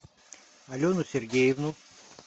алену сергеевну